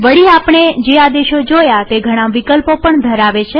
વળીઆપણે જે આદેશો જોયા તે ઘણા વિકલ્પો પણ ધરાવે છે